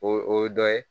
O o ye dɔ ye